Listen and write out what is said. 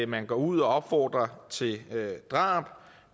man går ud og opfordrer til drab